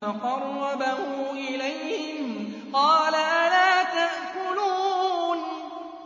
فَقَرَّبَهُ إِلَيْهِمْ قَالَ أَلَا تَأْكُلُونَ